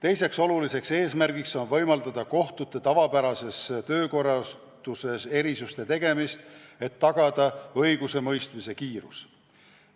Teiseks oluliseks eesmärgiks on võimaldada kohtute tavapärases töökorralduses erisuste tegemist, et tagada õigusemõistmise kiirus.